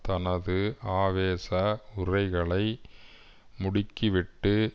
தனது ஆவேச உரைகளை முடுக்கிவிட்டு